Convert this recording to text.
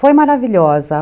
Foi maravilhosa.